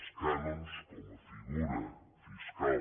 els cànons com a figura fiscal